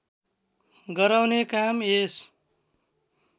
गराउने काम यस